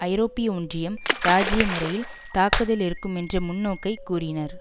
ஐரோப்பிய ஒன்றியம் ராஜீய முறையில் தாக்குதல் இருக்கும் என்ற முன்னோக்கை கூறினர்